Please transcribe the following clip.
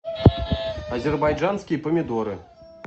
азербайджанские помидоры